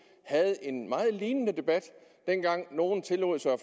havde en meget lignende debat dengang nogle tillod sig